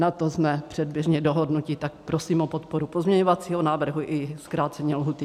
Na tom jsme předběžně dohodnuti, tak prosím o podporu pozměňovacího návrhu i zkrácení lhůty.